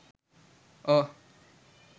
oh